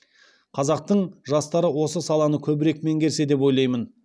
қазақтың жастары осы саланы көбірек меңгерсе деп ойлаймын